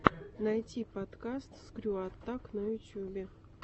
найти подкаст скрю аттак на ютюбе